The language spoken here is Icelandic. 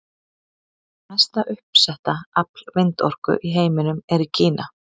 Mesta uppsetta afl vindorku í heiminum er í Kína.